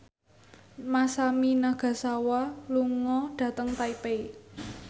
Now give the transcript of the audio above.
Masami Nagasawa lunga dhateng Taipei